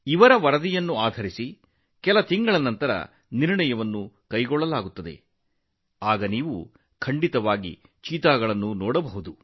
ಇದರ ಆಧಾರದ ಮೇಲೆ ಕೆಲವು ತಿಂಗಳ ನಂತರ ನಿರ್ಧಾರ ತೆಗೆದುಕೊಳ್ಳಲಾಗುವುದು ನಂತರ ನೀವು ಚೀತಾಗಳನ್ನು ನೋಡಲು ಸಾಧ್ಯವಾಗುತ್ತದೆ